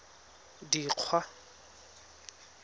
dikgwa